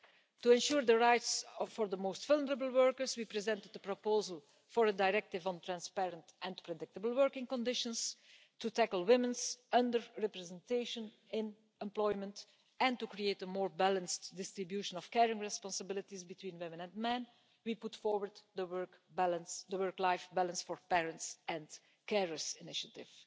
To ensure the rights for the most vulnerable workers we presented the proposal for a directive on transparent and predictable working conditions to tackle women's under-representation in employment and to create a more balanced distribution of caring responsibilities between women and men we put forward the work-life balance for parents and carers initiative.